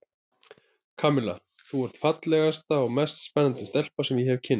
Kamilla, þú ert fallegasta og mest spennandi stelpa sem ég hef kynnst.